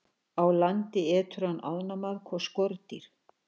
Á landi étur hann ánamaðk og skordýr.